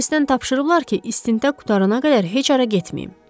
Polisdən tapşırıblar ki, istintaq qurtarana qədər heç hara getməyim.